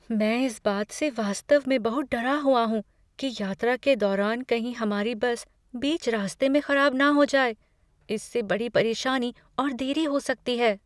मैं इस बात से वास्तव में बहुत डरा हुआ हूँ कि यात्रा के दौरान कहीं हमारी बस बीच रास्ते में खराब न हो जाए। इससे बड़ी परेशानी और देरी हो सकती है।